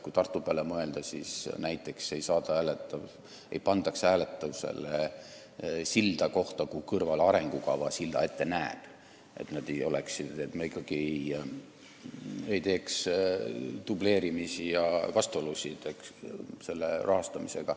Kui Tartu peale mõelda, siis seal ei pandaks näiteks hääletusele silla ehitamist kohta, mille kõrvale arengukava juba silla ette näeb, et meil ei oleks rahastamisel dubleerimisi ega vastuolusid.